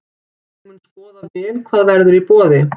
Ég mun skoða vel hvað verður í boði.